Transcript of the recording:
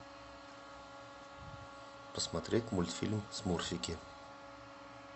посмотреть мультфильм смурфики